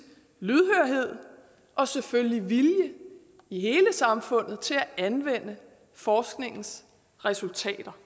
lydhørhed og selvfølgelig vilje i hele samfundet til at anvende forskningens resultater